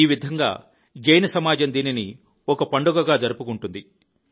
ఈ విధంగా జైన సమాజం దీనిని ఒక పండుగగా జరుపుకుంటుంది